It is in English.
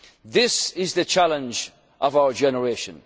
to contribute. This is the challenge